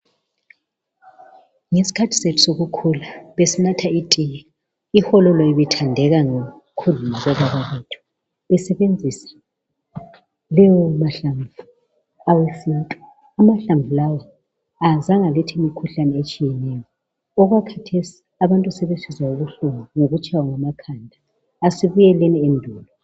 Ngesikhathi sethu sokukhula besinatha itiye. Ihololo. ibethandeka ngokhulu labobaba bethu besebenzisa amahlamvu esintu. Lamahlamvu kazange alethe ukugula okwakhathesi abantu sebesizwa ubuhlungu ngokutshaywa ngamakhanda.